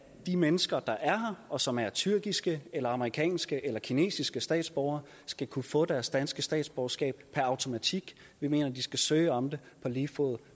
de mennesker der er her og som er tyrkiske amerikanske eller kinesiske statsborgere skal kunne få deres danske statsborgerskab per automatik vi mener de skal søge om det på lige fod